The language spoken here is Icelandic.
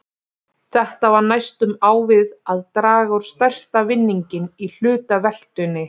Þetta var næstum á við að draga út stærsta vinninginn í hlutaveltunni!